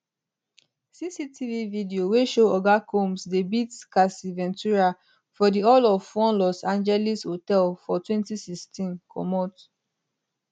cctv video wey show oga combs dey beat cassie ventura for di hall of one los angeles hotel for 2016 comot